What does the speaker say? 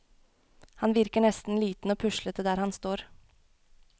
Han virker nesten liten og puslete der han står.